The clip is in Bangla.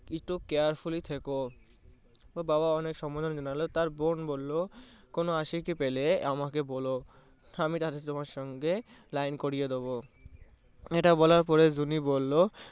একটু carefully থেকো। তার বাবা অনেক সম্মোধনা তার বোন বললো কোনো আশিকি পেলে আমাকে বলো আমি তাহলে তোমার সঙ্গে line করিয়ে দেব। এটা বলার পরে জুনি বললো